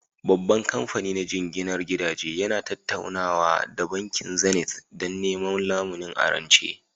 Babban kamfani na jinginar gidaje yana tattaunawa da Bankin Zenith don neman lamuni a rance